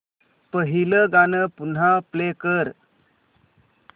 पहिलं गाणं पुन्हा प्ले कर